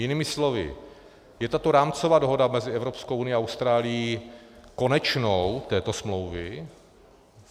Jinými slovy, je tato rámcová dohoda mezi Evropskou unií a Austrálií konečnou této smlouvy?